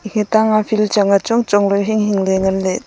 etang ma field chang a chongchong ley hinghing ley nganley.